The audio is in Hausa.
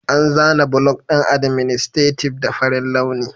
An zana block ɗin adminstative da farin launi